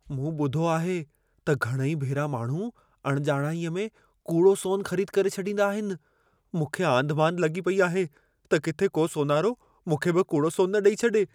मूं ॿुधो आहे त घणई भेरा माण्हू अणॼाणाईअ में कूड़ो सोन ख़रीद करे छॾींदा आहिनि। मूंखे आंधिमांधि लॻी पेई आहे त किथे को सोनारो मूंखे बि कूड़ो सोन न ॾेई छॾे।